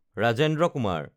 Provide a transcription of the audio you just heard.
Rajendra Kumar